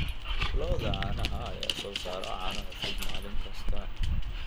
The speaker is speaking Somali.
Lo'da caanaha ayaa soo saara caano cusub maalin kasta.